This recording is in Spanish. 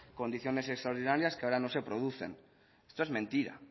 condiciones extraordinarias que ahora no se producen esto es mentira